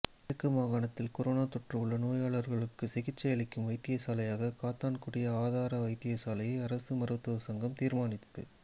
கிழக்கு மாகாணத்தில் கொரோனா தொற்று உள்ள நோயாளர்களுக்கு சிகிச்சையளிக்கும் வைத்தியசாலையாக காத்தான்குடி ஆதார வைத்தியசாலையை அரச மருத்துவ சங்கம் தீர்மானித்தது